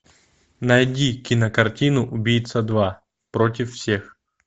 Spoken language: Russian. найди кинокартину убийца два против всех